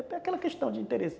É aquela questão de interesse.